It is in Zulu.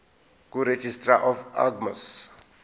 kuregistrar of gmos